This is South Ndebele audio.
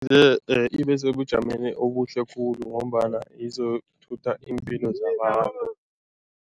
Ibe sebujameni obuhle khulu ngombana izokuthutha iimpilo